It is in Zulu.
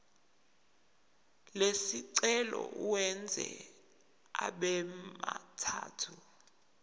lesicelo uwenze abemathathu